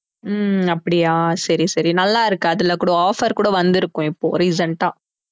ஹம் அப்படியா சரி சரி நல்லாருக்கு அதுல கூட offer கூட வந்திருக்கும் இப்போ recent ஆ